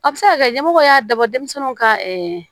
A bɛ se ka kɛ ɲɛmɔgɔ y'a dabɔ denmisɛnninw ka